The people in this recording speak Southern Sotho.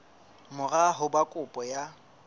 mora ho ba kopo ya